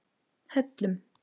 Hellum